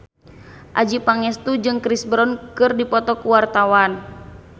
Adjie Pangestu jeung Chris Brown keur dipoto ku wartawan